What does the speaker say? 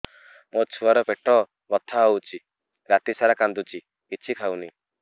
ମୋ ଛୁଆ ର ପେଟ ବଥା ହଉଚି ରାତିସାରା କାନ୍ଦୁଚି କିଛି ଖାଉନି